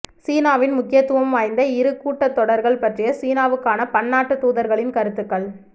சீனாவின் முக்கியத்துவம் வாய்ந்த இரு கூட்டத்தொடர்கள் பற்றிய சீனாவுக்கான பன்னாட்டுத் தூதர்களின் கருத்துகள்